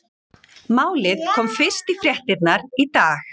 Málið komst fyrst í fréttirnar í dag.